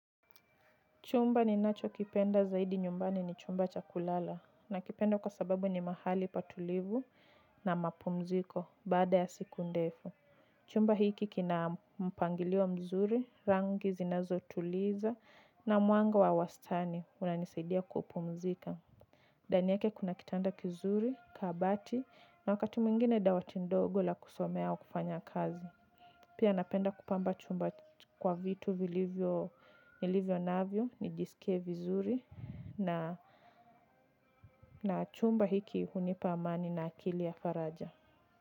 Chumba ninachokipenda zaidi nyumbani ni chumba cha kulala. Nakipenda kwa sababu ni mahali patulivu na mapumziko baada ya siku ndefu. Chumba hiki kina mpangilio mzuri, rangi zinazotuliza na mwanga wa wastani unanisaidia kupumzika. Ndani yake kuna kitanda kizuri, kabati na wakati mwingine dawati ndogo la kusomea au kufanya kazi. Pia napenda kupamba chumba kwa vitu nilivyo navyo, nijisikie vizuri na chumba hiki hunipa amani na akili ya faraja.